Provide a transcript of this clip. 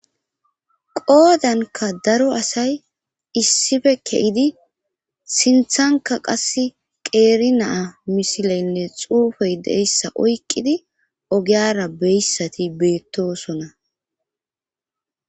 Qoodanka daro asay issife ke7idi sinthanka qass qeeri naa misileynne xuufey deyssa oyqqidi ogeyara beyssati beettosona